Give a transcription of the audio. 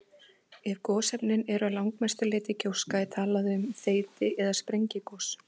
Ef gosefnin eru að langmestu leyti gjóska er talað um þeyti- eða sprengigos.